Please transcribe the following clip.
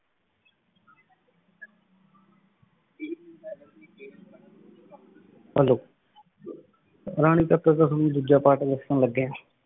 Hello ਰਾਨੀ ਤਕ ਅਗੋ ਹੀ ਦੋਜਾ ਪਰਤ ਲਿਖਾਂਲਾਗ੍ਯ ਆਂ